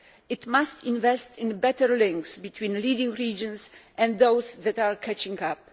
It must invest in better links between leading regions and those that are catching up.